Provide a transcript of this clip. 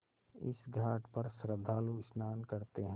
इस घाट पर श्रद्धालु स्नान करते हैं